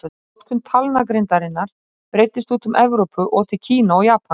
Notkun talnagrindarinnar breiddist út um Evrópu og til Kína og Japans.